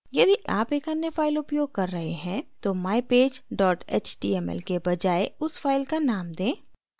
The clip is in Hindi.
यदि आप एक अन्य file उपयोग कर रहे हैं तो mypage html के बजाए उस file का नाम दें